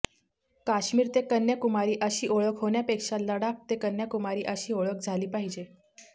काश्मिर ते कन्याकुमारी अशी ओळख होण्यापेक्षा लडाख ते कन्याकुमारी अशी ओळख झाली पाहिजे